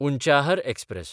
Unchahar express